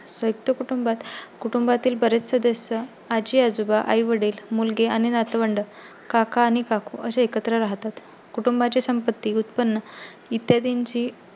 संयुक्त कुटुंबात कुटुंबातील बरेच सदस्य आजी-आजोबा, आई- वडील, मुलगी आणि नातवंड काका आणि काकू असे एकत्र राहतात. कुटुंबा ची संपत्ती उत्पन्न इत्यादिची